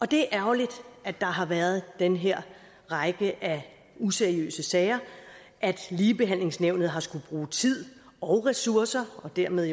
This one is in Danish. det er ærgerligt at der har været den her række af useriøse sager at ligebehandlingsnævnet har skullet bruge tid og bruge ressourcer og dermed